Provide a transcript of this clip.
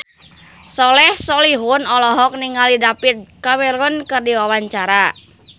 Soleh Solihun olohok ningali David Cameron keur diwawancara